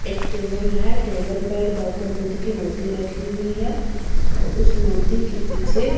एक टेबल है टेबल पर गौतम बुद्ध की मूर्ती रखी हुई है और मूर्ती के पीछे--